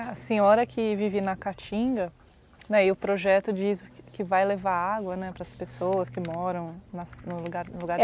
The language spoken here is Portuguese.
A senhora que vive na Caatinga né, o projeto diz que vai levar água né, para as pessoas que moram na no lugar no lugar